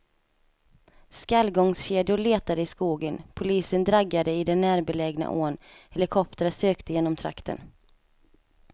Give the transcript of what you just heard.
Skallgångskedjor letade i skogen, polisen draggade i den närbelägna ån, helikoptrar sökte genom trakten.